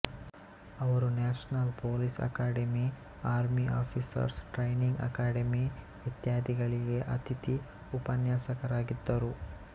ಅವರು national police academy army officers training academy ಇತ್ಯಾದಿಗಳಿಗೆ ಅತಿಥಿ ಉಪನ್ಯಾಸಕರಾಗಿದ್ದರು